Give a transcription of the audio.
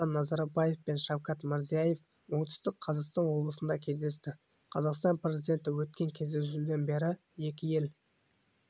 нұрсұлтан назарбаев пен шавкат мирзиев оңтүстік қазақстан облысында кездесті қазақстан президенті өткен кездесуден бері екі ел